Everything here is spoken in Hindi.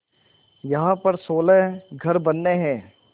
यहाँ पर सोलह घर बनने हैं